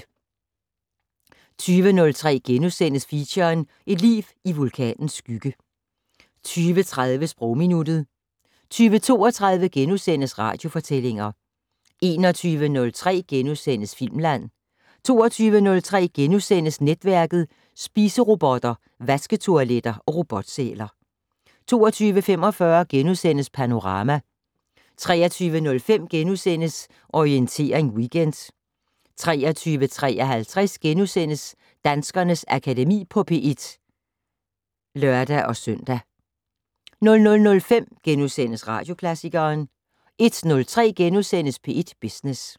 20:03: Feature: Et liv i vulkanens skygge * 20:30: Sprogminuttet 20:32: Radiofortællinger * 21:03: Filmland * 22:03: Netværket: Spiserobotter, vasketoiletter og robotsæler * 22:45: Panorama * 23:05: Orientering Weekend * 23:53: Danskernes Akademi på P1 *(lør-søn) 00:05: Radioklassikeren * 01:03: P1 Business *